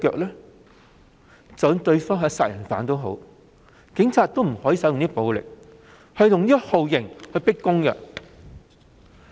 即使對方是殺人犯，警方也不可以使用暴力及酷刑進行迫供。